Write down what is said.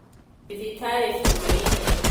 Thibitarĩ bũrũri-inĩ